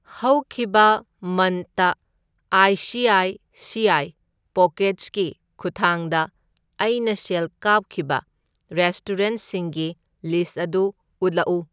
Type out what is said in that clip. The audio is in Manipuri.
ꯍꯧꯈꯤꯕ ꯃꯟꯠꯇ I C I C I ꯄꯣꯀꯦꯠꯁꯀꯤ ꯈꯨꯠꯊꯥꯡꯗ ꯑꯩꯅ ꯁꯦꯜ ꯀꯥꯞꯈꯤꯕ ꯔꯦꯁꯇꯨꯔꯦꯟꯠꯁꯤꯡꯒꯤ ꯂꯤꯁꯠ ꯑꯗꯨ ꯎꯠꯂꯛꯎ꯫